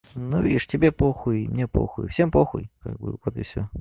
ну видишь тебе похуй и мне похуй всем похуй как бы вот и всё